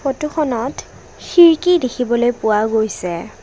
ফটোখনত খিৰ্কি দেখিবলৈ পোৱা গৈছে।